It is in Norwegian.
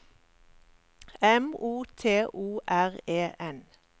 M O T O R E N